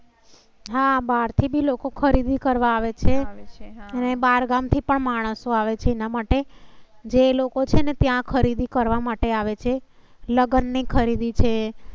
હા બહાર થી લોકો ખરીદી કરવા આવે છે અને બહાર ગામ થી પણ માણસો આવે છે. એના માટે જે લોકો છે ને ત્યાં ખરીદી કરવા માટે આવે છે. લગ્ન ની ખરીદી છે.